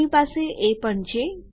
આપણી પાસે એ પણ છે